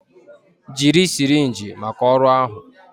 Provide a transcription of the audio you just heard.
Jiri sirinji maka ọrụ ahụ